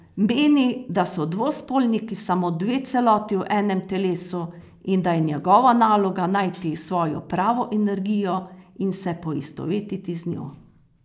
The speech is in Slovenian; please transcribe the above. Meni, da so dvospolniki samo dve celoti v enem telesu in da je njihova naloga najti svojo pravo energijo in se poistovetiti z njo.